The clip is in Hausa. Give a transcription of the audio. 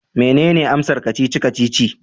Menene amsar kacici-kacici?